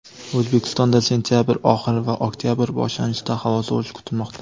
O‘zbekistonda sentyabr oxiri va oktyabr boshlanishida havo sovishi kutilmoqda.